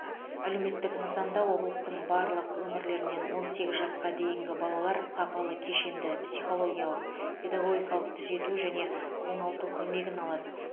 әлеуметтік нысанда облыстың барлық өңірлерінен он сегіз жасқа дейінгі балалар сапалы кешенді психологиялық педагогикалық түзету және оңалту көмегін алады